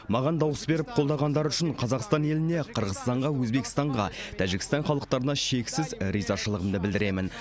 маған дауыс беріп қолдағандары үшін қазақстан еліне қырғызстанға өзбекстанға тәжікстан халықтарына шексіз ризашылығымды білдіремін